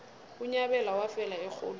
unyabela wafela erholweni